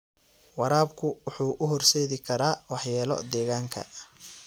Waraabku wuxuu u horseedi karaa waxyeelo deegaanka.